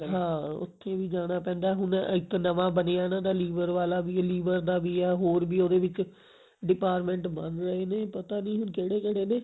ਹਾਂ ਉੱਥੇ ਵੀ ਜਾਣਾ ਪੈਂਦਾ ਹੁਣ ਇੱਕ ਨਵਾਂ ਬਣਿਆ ਇਹਨਾਂ ਦਾ liver ਵਾਲਾ ਵੀ ਐ liver ਦਾ ਵੀ ਐ ਹੋਰ ਵੀ ਉਹਦੇ ਵਿੱਚ department ਬੰਨ ਰਹੇ ਨੇ ਪਤਾ ਨਹੀਂ ਕਿਹੜੇ ਕਿਹੜੇ ਨੇ